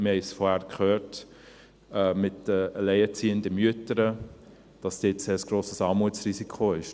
Wir haben es vorhin gehört, mit den alleinerziehenden Müttern, dass dort ein grosses Armutsrisiko ist.